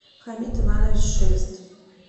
хамид иванович шелест